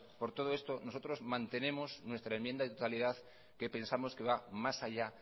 por todo esto nosotros mantenemos nuestra enmienda de totalidad que pensamos que va más allá